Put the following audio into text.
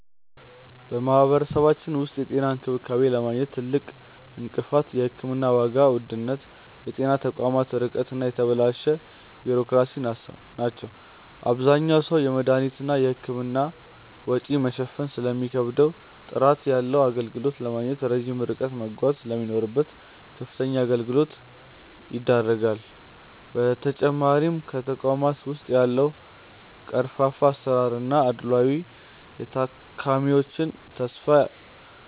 በማህበረሰባችን ውስጥ የጤና እንክብካቤን ለማግኘት ትልቁ እንቅፋት የሕክምና ዋጋ ውድነት፣ የጤና ተቋማት ርቀት እና የተበላሸ ቢሮክራሲ ናቸው። አብዛኛው ሰው የመድኃኒትና የሕክምና ወጪን መሸፈን ስለሚከብደውና ጥራት ያለው አገልግሎት ለማግኘት ረጅም ርቀት መጓዝ ስለሚኖርበት ለከፍተኛ እንግልት ይዳረጋል። በተጨማሪም በተቋማት ውስጥ ያለው ቀርፋፋ አሰራርና አድልዎ የታካሚዎችን ተስፋ